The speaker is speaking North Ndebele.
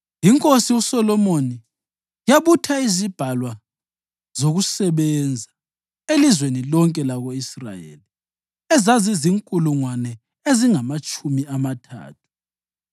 INkosi uSolomoni yabutha izibhalwa zokusebenza elizweni lonke lako-Israyeli, ezazizinkulungwane ezingamatshumi amathathu.